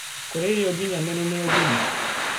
Kuria irio nginyaniru ni ugima